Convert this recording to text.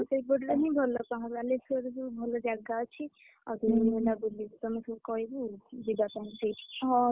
ହଁ ସେଇପଟରେ ହିଁ ଭଲ ବାଲେଶ୍ୱର ବି ଭଲ ଜାଗା ଅଛି ଆଜି କାଲି ମୁଁ ଭାବୁଛି ସମସ୍ତଙ୍କୁ କହିବୁ ଯିବା ପାଇଁ ସେଇଠିକି